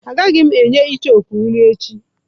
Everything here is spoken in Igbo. Agaghị m enye icheoku nri echi.